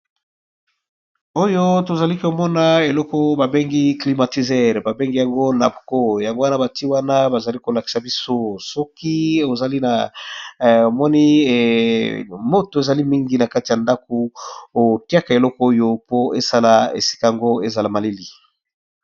Oyo tozali komona eloko babengi klimatizere babengi yango nabuco yango wana bati wana bazali kolakisa biso soki moto ezali mingi na kati ya ndako otiaka eloko oyo po esala esika yango ezala maleli.